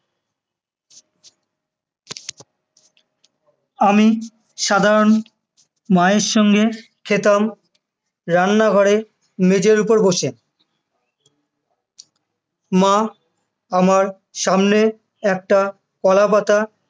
আমি সাধারণত মায়ের সঙ্গে খেতাম, রান্নাঘরে মাঝের উপর বসে, মা আমার সামনে একটা কলাপাতা